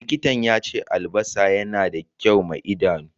Likintan ya ce albassa yana da kyau ma Idanu.